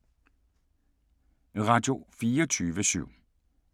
Radio24syv